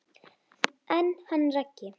En hann Raggi?